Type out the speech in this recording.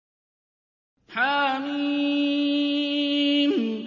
حم